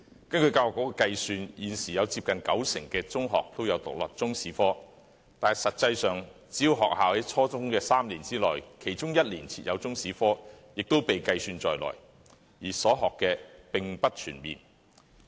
根據教育局的計算，現時有接近九成中學也是獨立中史科，但實際上，只要學校在初中3年內的其中1年設有中史科，也會被計算在內，所學的並不全面。